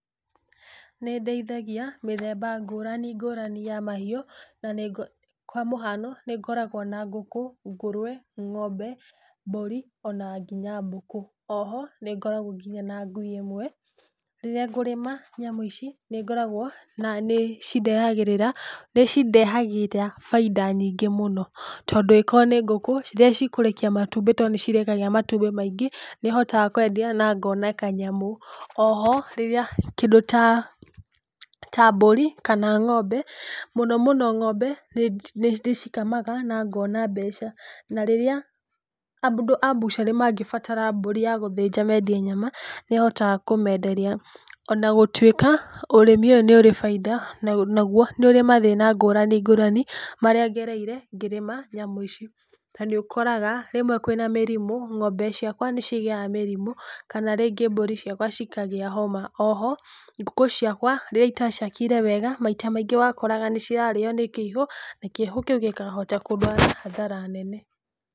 Nĩndĩithagia mĩthemba ngũrani ngũrani ya mahĩũ, na nĩngũ kwa mũhano nĩngoragwo na ngũkũ, ngũrũwe, ngombe, mbũri, ona nginya mbũkũ, oho nĩngoragwo nginya na ngui ĩmwe, rĩrĩa ngũrĩma nyamũ ici, nĩngoragwo, na nĩcindehagĩrĩra, nĩcindehagĩra bainda nyingĩ mũno, tondũ angĩkorwo nĩ ngũkũ, rĩrĩa cikũrekia matumbĩ tondũ nĩcirekagia matumbĩ maingĩ, nĩhotaga kwendia na ngona kanyamũ, oho rĩrĩa kindũ ta mbũri, kana ngombe, mũno mũno ngombe nĩ nĩ ndĩcikamaga na ngona mbeca. Na rĩrĩa andũ a mbucarĩ mangĩbatara mbũrĩ ya gũthĩnja mendie nyama, nĩhotaga kũmenderia ona gũtuĩka ũrĩmi ũyũ nĩũrĩ bainda, naguo nĩ ũrĩ mathĩna ngũrani ngũrani marĩa ngereire ngĩrĩma nyamũ ici. Na nĩ ũkoraga rĩmwe kwĩna mĩrimũ, ngombe ciakwa nĩcigĩaga mĩrimũ, kana rĩngĩ mbũri ciakwa cikagĩa homa, oho ngũkũ ciakwa rĩrĩa itaciakĩire wega, maita maingĩ wakoraga nĩ irario nĩ kĩihũ, na kĩihũ kiũ gĩkahota kũndwara hathara nene.